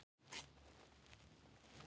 Veróna, lækkaðu í hátalaranum.